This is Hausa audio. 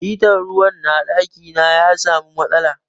Hita na ruwa na daki na ya samu matsala.